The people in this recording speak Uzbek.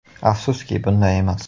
Afsuski, bunday emas.